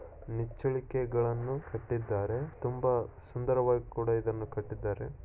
ನಿಚ್ಚಳಿಕೆಗಳನ್ನು ಕಟ್ಟಿದ್ದಾರೆ ತುಂಬಾ ಸುಂದರವಾಗಿ ಕೂಡ ಇದನ್ನು ಕಟ್ಟಿದ್ದಾರೆ.